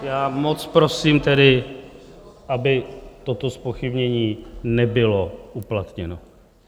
Já moc prosím tedy, aby toto zpochybnění nebylo uplatněno.